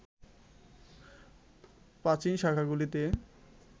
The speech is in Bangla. প্রাচীন শাখাগুলিতে